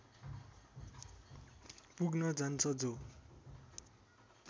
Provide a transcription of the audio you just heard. पुग्न जान्छ जो